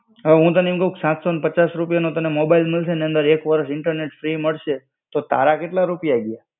અવે હું તને એમ કેવ કે સાત સૌ ને પચાસ રૂપિયાનો તને મોબાઈલ મળશે ને એની અંદર એક વર્ષ ઈન્ટરનેટ ફ્રી મળશે, તો તારા કેટલા રૂપિયા ગયા.